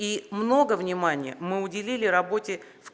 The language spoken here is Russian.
и много внимания мы уделили работе в